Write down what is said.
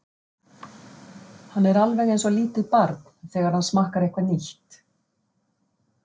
Hann er alveg einsog lítið barn, þegar hann smakkar eitthvað nýtt.